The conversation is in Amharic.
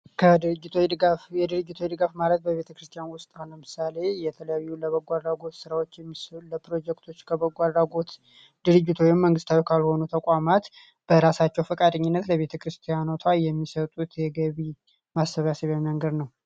ከድርጅቶች ድጋፍ የድርጅቶች ድጋፍ ማለት በቤተክርስቲያን ውስጥ ለምሳሌ የተለያዩ የበጎ አድራጎት ስራዎች የሚሰሩ ለፕሮጀክት ከበጎ አድራጎት ወይም መንግስታዊ ካልሆኑ ተቋማት በራሳቸው ፍቃድ ለቤተክርስቲያን የሚሰጡት የገቢ ማሰባሰብያ መንገድ ነው።